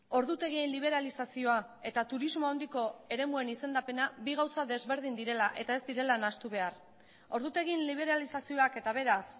ordutegien liberalizazioa eta turismo handiko eremuen izendapena bi gauza desberdin direla eta ez direla nahastu behar ordutegien liberalizazioak eta beraz